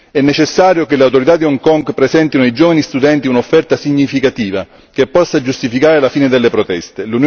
È necessario che le autorità di Hong Kong presentino ai giovani studenti un'offerta significativa, che possa giustificare la fine delle proteste.